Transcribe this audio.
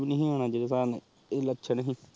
ਤੂ ਨੀ ਅਨਾ ਨੁ ਤੇਰੇ ਲਕਸ਼ਾਂ ਹੀ